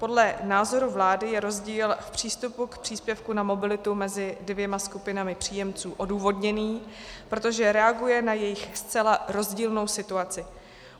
Podle názoru vlády je rozdíl v přístupu k příspěvku na mobilitu mezi dvěma skupinami příjemců odůvodněný, protože reaguje na jejich zcela rozdílnou situaci.